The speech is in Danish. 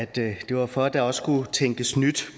det var for at der også skulle tænkes nyt